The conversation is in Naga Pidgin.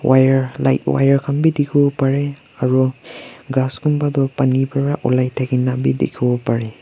wire light wire khan bi dikhi wo parey aru ghas konba tu pani pra olai thakina bi dikhwo parey.